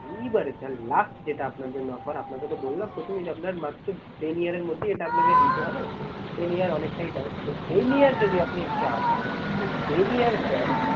এইবারে sir last যেটা আপনার জন্য offer আপনাকে তো বললাম প্রথমেই যে আপনার মাত্র ten year এর মধ্যেই আপনাকে দিতে হবে। ten year অনেকটাই time তো ten year যদি আপনি যান তো ten year sir